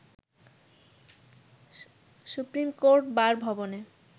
supreme court bar ভবনে